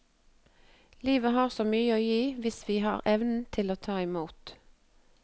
Livet har så mye å gi hvis vi har evnen til å ta imot.